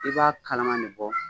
I b'a kalama ne bɔ